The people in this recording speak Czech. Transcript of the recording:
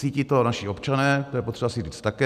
Cítí to naši občané, to je potřeba si říct také.